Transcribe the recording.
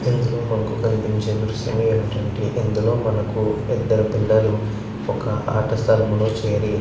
ఇందులో మనకి కనిపించేది దృశ్యం ఏమిటి అంటే ఇందులో మనకి ఇదరు పిల్లలు ఒక అట స్థలం లో చేరి --